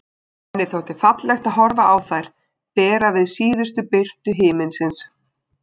Henni þótti fallegt að horfa á þær bera við síðustu birtu himinsins.